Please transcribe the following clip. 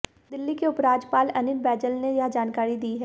दिल्ली के उपराज्यपाल अनिल बैजल ने यह जानकारी दी है